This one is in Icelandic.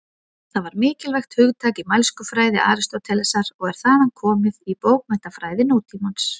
Það var mikilvægt hugtak í mælskufræði Aristótelesar og er þaðan komið í bókmenntafræði nútímans.